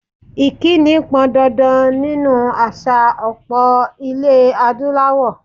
Ìkíni pọn dandan nínú àṣà ọlpọ̀ ilé Adúláwọ̀.